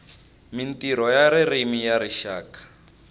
mintirho ya ririmi ya rixaka